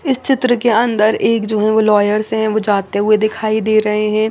इस चित्र के अन्दर एक जो है वो लोयर्स है वो जाते हुए दिखाई दे रहे है।